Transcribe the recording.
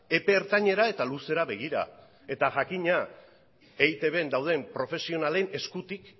epe ertainera eta luzera begira eta jakina eitbn dauden profesionalen eskutik